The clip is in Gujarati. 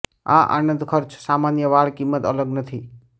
આ આનંદ ખર્ચ સામાન્ય વાળ કિંમત અલગ નથી